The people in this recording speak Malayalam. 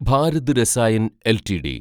ഭാരത് രസായൻ എൽടിഡി